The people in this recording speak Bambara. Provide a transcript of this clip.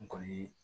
N kɔni ye